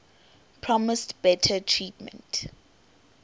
promised better treatment